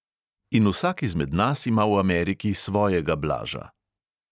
In vsak izmed nas ima v ameriki svojega blaža.